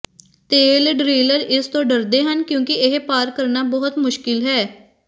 ਤੇਲ ਡ੍ਰਿਲਰ ਇਸ ਤੋਂ ਡਰਦੇ ਹਨ ਕਿਉਂਕਿ ਇਹ ਪਾਰ ਕਰਨਾ ਬਹੁਤ ਮੁਸ਼ਕਿਲ ਹੈ